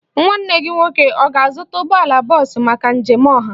Nwanne gị nwoke ọ ga-azụta ụgbọala bọọsụ maka njem ọha?